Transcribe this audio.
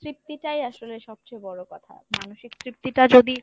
তৃপ্তিটাই আসলে সবচেয়ে বড় কথা, মানসিক তৃপ্তিটা যদি